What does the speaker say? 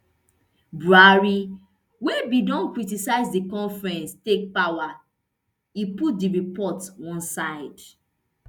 buhari wey bin don criticise di conference take power e put di report one side